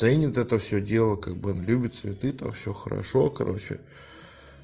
ценит это всё дело как бы он любит цветы там всё хорошо короче